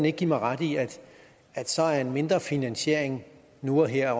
ikke give mig ret i at så er en mindre finansiering nu og her